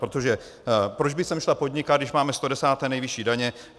Protože proč by sem šla podnikat, když máme 110. nejvyšší daně?